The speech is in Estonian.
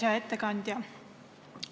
Hea ettekandja!